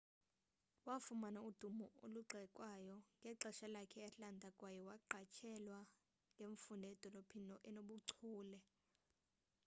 wafumana udumo olugxekwayo ngexesha lakhe e-atlanta kwaye yaqatshelwa ngemfundo edolophini enobuchule